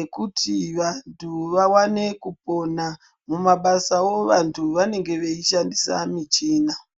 ekuti vanhu vaone kupona. Mumabasawo vanhu vanenge veishandisa michina.